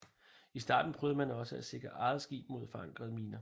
I starten prøvede man også at sikre eget skib mod forankrede miner